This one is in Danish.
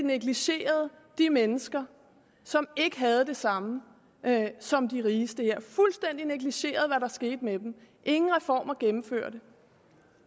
negligerede de mennesker som ikke havde det samme som de rigeste her fuldstændig negligerede hvad der skete med dem ingen reformer blev gennemført